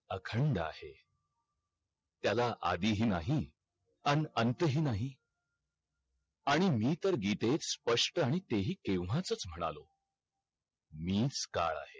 अखंड आहे त्याला आदिही नाही अन अनंत हि नाही आणि मी तर गीतेत स्पष्ट आणि तेही केव्हाचाच म्हणालो मीच काल आहे